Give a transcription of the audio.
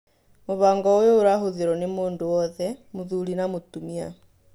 mũbango ũyũ ũrahũthĩrwo nĩ mũndũ wothe, Mũthuri na mutumia